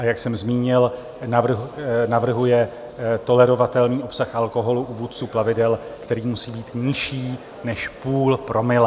A jak jsem zmínil, navrhuje tolerovatelný obsah alkoholu u vůdců plavidel, který musí být nižší než půl promile.